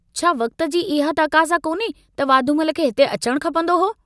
छा वक्त जी इहा तकाज़ा कोन्हे त वाधूमल खे हिते अचण खपन्दो हो